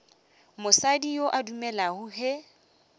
mosadi yo a dumelago ge